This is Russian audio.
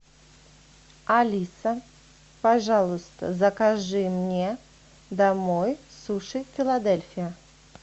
алиса пожалуйста закажи мне домой суши филадельфия